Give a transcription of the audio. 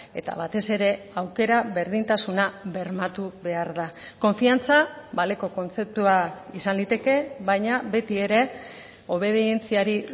eta batez ere aukera berdintasuna bermatu behar da konfiantza baleko kontzeptua izan liteke baina beti ere obedientziari